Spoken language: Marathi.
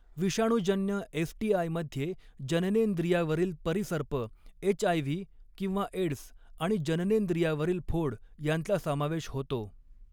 विषाणूजन्य एसटीआयमध्ये जननेंद्रियावरील परिसर्प, एचआयव्ही किंवा एड्स आणि जननेंद्रियावरील फोड यांचा समावेश होतो.